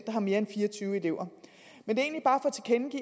har mere end fire og tyve elever men det